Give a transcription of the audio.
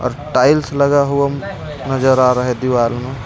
और टाइल्स लगा हुआ नजर आ रहा हे दिवार मे.